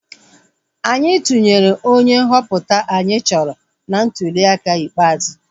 Anyị tụnyere onye nhọpụta anyị chọrọ na ntuliaka ikpeazụ